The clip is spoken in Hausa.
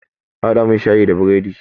A haɗa mun shayi da biredi!